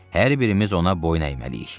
Hər birimiz ona boyun əyməliyik.